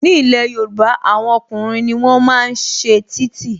Ní ilé Yorùbá, àwọn ọkùnrin ni wọ́n máa ń ṣe títì